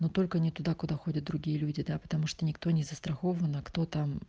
но только не туда куда ходят другие люди да потому что никто не застрахован а кто-то